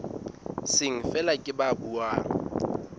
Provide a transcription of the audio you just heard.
seng feela ke ba buang